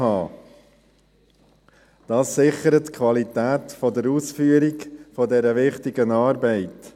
Dies sichert die Qualität der Ausführung dieser wichtigen Arbeit.